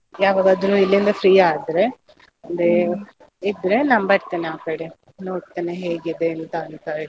ಯಾವಾಗದ್ರುನು ಇಲ್ಲಿಂದ free ಆದ್ರೆ, ಅಂದ್ರೆ ಇದ್ರೆ ನಾನ್ ಬರ್ತೇನೆ ಆ ಕಡೆ ನೋಡ್ತೆನೆ ಹೇಗಿದೆ ಎಂತ ಅಂತ ಎಲ್ಲ.